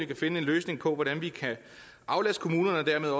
vi finde en løsning på hvordan vi kan aflaste kommunerne og dermed